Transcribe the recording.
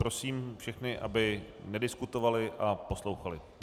Prosím všechny, aby nediskutovali a poslouchali.